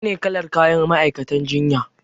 Menene kalar kayan ma'aikatan jinya?